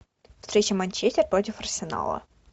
встреча манчестер против арсенала